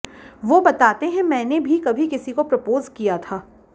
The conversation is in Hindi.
वो बताते हैं मैंने भी कभी किसी को प्रपोज किया था